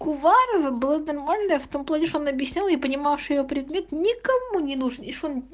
куварова была нормальная в том плане что она объясняла и понимала что её предмет никому ненужный и что он